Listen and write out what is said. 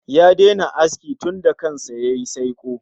Ya daina yin aski tunda kan sa yayi saiko